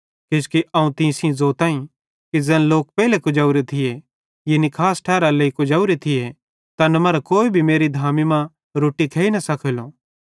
किजोकि अवं तीं सेइं ज़ोताईं कि ज़ैन लोक पेइले कुजेवरे थिये यानी खास ठैरारे लेइ कुजेवरे थिये तैन मरां कोई भी मेरी धामी मां रोट्टी न खेइ सकेलो